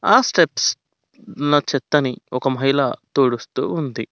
ఆ స్టెప్స్ ఉన్న చెత్తని ఒక మహిళ తుడుస్తూ ఉంది.